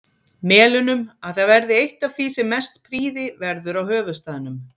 Melunum, að það verði eitt af því sem mest prýði verður á höfuðstaðnum.